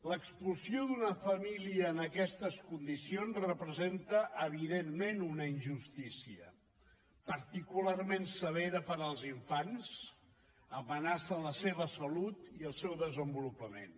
l’expulsió d’una família en aquestes condicions representa evidentment una injustícia particularment severa per als infants amenaça la seva salut i el seu desenvolupament